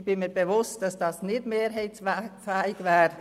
Ich bin mir bewusst, dass das hier im Saal nicht mehrheitsfähig wäre.